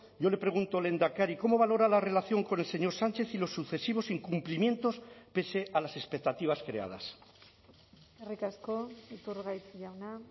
yo le pregunto lehendakari cómo valora la relación con el señor sánchez y los sucesivos incumplimientos pese a las expectativas creadas eskerrik asko iturgaiz jauna